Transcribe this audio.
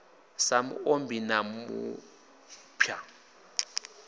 sa mu ombi na mupha